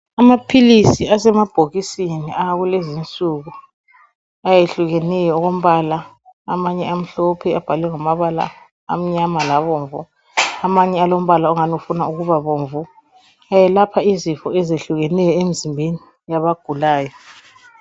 Amaphilisi asemabhokisini awakulezi insuku ayehlukeneyo okombala amanye amhlophe abahlwe ngamabala amnyama labomvu, amanye alombala ongani ufuna ukuba bomvu ayelapha izifo ezehlukeneyo emzimbeni. yabagulayo.